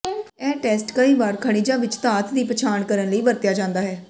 ਇਹ ਟੈਸਟ ਕਈ ਵਾਰ ਖਣਿਜਾਂ ਵਿਚ ਧਾਤ ਦੀ ਪਛਾਣ ਕਰਨ ਲਈ ਵਰਤਿਆ ਜਾਂਦਾ ਹੈ